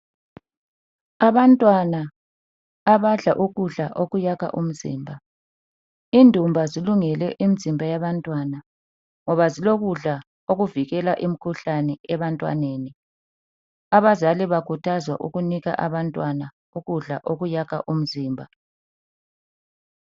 Abantwana abadla ukudla okuyakha umzimba. Indumba zilungele imizimba yabantwana ngoba zilokudla okuvikela imikhuhlane ebantwaneni. Abazali bakhuthazwa ukunika abantwana ukudla okuyakha umzimba.